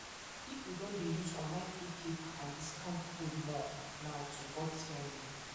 people don dey use online free paper and discount code more now to cut spending